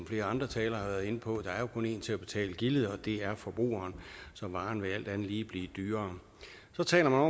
flere andre talere har været inde på der er kun én til at betale gildet og det er forbrugeren så varen vil alt andet lige blive dyrere så taler